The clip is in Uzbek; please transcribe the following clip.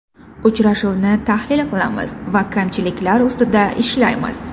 Uchrashuvni tahlil qilamiz va kamchiliklar ustida ishlaymiz.